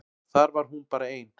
Þar var hún bara ein.